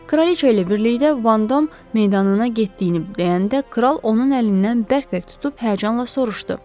Kraliça ilə birlikdə Vandam meydanına getdiyini deyəndə kral onun əlindən bərk-bərk tutub həyəcanla soruşdu.